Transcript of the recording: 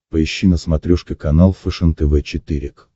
поищи на смотрешке канал фэшен тв четыре к